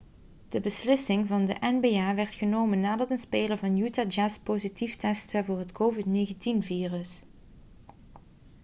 de beslissing van de nba werd genomen nadat een speler van utah jazz positief testte voor het covid-19-virus